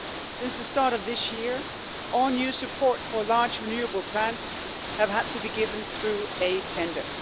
Since the start of this year all new support for large renewable plants has had to be given through a tender.